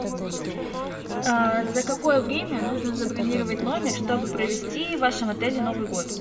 за какое время нужно забронировать номер чтобы провести в вашем отеле новый год